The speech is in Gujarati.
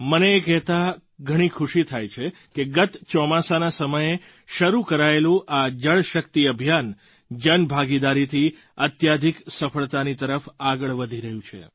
મને એ કહેતા ઘણી ખુશી થાય છે કે ગત ચોમાસાના સમયે શરૂ કરાયેલું આ જળશક્તિ અભિયાન જનભાગાદારીથી અત્યધિક સફળતાની તરફ આગળ વધી રહ્યું છે